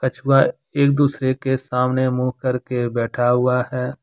कछुआ एक दूसरे के सामने मुंह करके बैठा हुआ है।